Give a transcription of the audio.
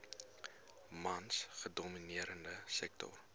mans gedomineerde sektor